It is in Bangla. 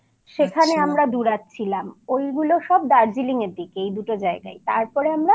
সেখানে আমরা দুরাত ছিলাম। ওইগুলো সব দার্জিলিং